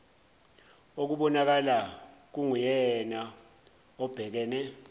okubonakala kunguyena obhekene